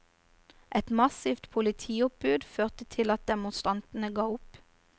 Et massivt politioppbud førte til at demonstrantene ga opp.